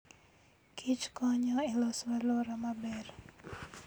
Kich konyo e loso alwora maber.